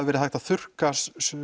verið hægt að þurrka